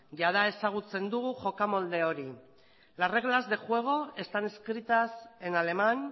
jada ezagutzen dugu jokamolde hori las reglas de juego están escritas en alemán